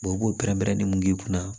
u b'o pɛrɛn-pɛrɛn ne mun k'i kunna